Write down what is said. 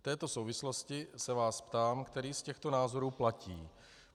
V této souvislosti se vás ptám, který z těchto názorů platí.